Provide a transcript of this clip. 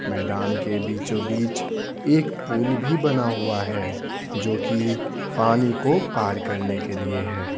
मैदान के बीचों-बीच एक पुल भीबना हुआ हैजो कि पानी को पार करने के लिए है।